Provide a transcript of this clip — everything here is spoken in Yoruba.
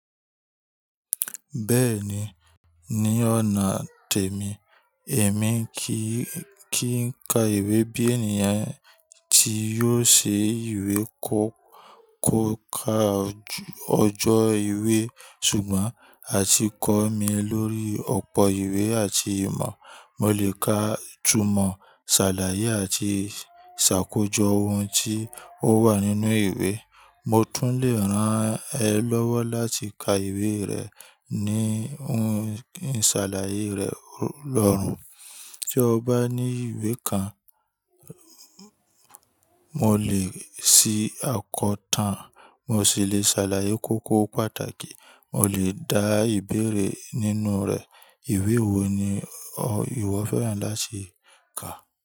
Bẹ́ẹ̀ni, ní ọ̀nà tèmi, èmi kì í ka ìwé bí ènìyàn tí yóò ṣe ìwé kọ́ka ọjọ́ ìwé. Ṣùgbọ́n a ti kọ́ mi lórí ọ̀pọ̀ ìwé àti ìmọ̀. Mo lè ka ìtumọ̀, ṣàlàyé àti ìsàkójọ ohun tí ó wà nínú ìwé. Mo tún lè ràn ẹ́ lọ́wọ́ láti ka ìwé rẹ̀ ní ohun ìṣàlàyé rẹ̀ lọ́rùn. Bí ọ bá ní ìwé kan, mo lè ṣí àkọta, mo sì lè ṣàlàyé kókó pàtàkì, mo lè dá ìbéèrè nínú rẹ̀. Ìwé wo ni ìwọ fẹ́ràn láti ka?